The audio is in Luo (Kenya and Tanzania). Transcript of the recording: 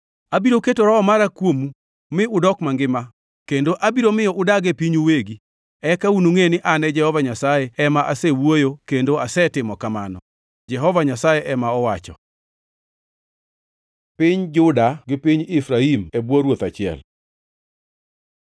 Abiro keto Roho mara kuomu mi udok mangima, kendo abiro miyo udag e pinyu uwegi. Eka unungʼe ni an Jehova Nyasaye ema asewuoyo kendo asetimo kamano. Jehova Nyasaye ema owacho.’ ” Piny Juda gi piny Efraim e bwo ruoth achiel